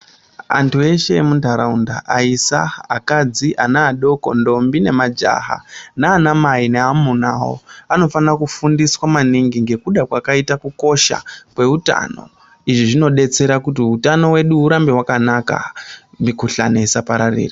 Antu eshe emuntaraunda aisa, akadzi, ana adoko, ndombi nemajaha, nanamai neamuna awo anofana kufundiswa maningi ngekuda kwakaita kukosha kweutano izvi zvinodetsera kuti utano hwedu urambe hwakanaka mikhuhlani isapararira.